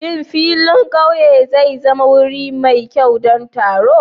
Shin filin ƙauye zai zama wuri mai kyau don taron?